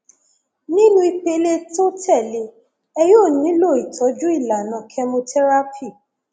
nínú ìpele tó tẹlé e yóò nílò ìtọjú ìlànà chemotherapy